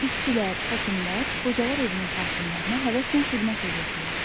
İşçilər, həkimlər qocalar evinin sakinlərinə həvəslə xidmət edirdilər.